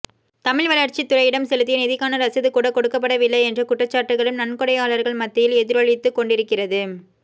தமிழ்வளர்ச்சித்துறையிடம் செலுத்திய நிதிக்கான ரசீதுகூட கொடுக்கப்படவில்லை என்ற குற்றச்சாட்டுகளும் நன்கொடையாளர்கள் மத்தியில் எதிரொலித்துக் கொண்டிருக்கிறது